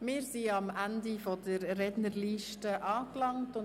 Wir sind am Ende der Rednerliste angelangt.